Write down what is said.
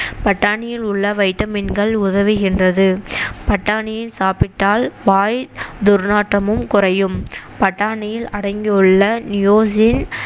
பட்டாணியில் உள்ள வைட்டமின்கள் உதவுகின்றது பட்டாணியை சாப்பிட்டால் வாய் துர்நாற்றமும் குறையும் பட்டாணியில் அடங்கியுள்ள நியோசின்